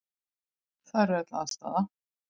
Þar er öll aðstaða.